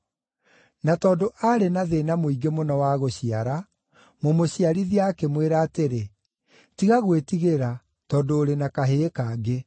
Na tondũ aarĩ na thĩĩna mũingĩ mũno wa gũciara, mũmũciarithia akĩmwĩra atĩrĩ, “Tiga gwĩtigĩra, tondũ ũrĩ na kahĩĩ kangĩ.”